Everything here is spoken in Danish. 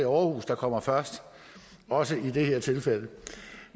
aarhus der kommer først også i det her tilfælde